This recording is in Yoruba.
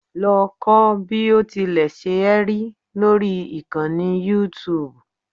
Lọ kọ́ bí o tilẹ̀ ṣe é lórí ìkànnì youtube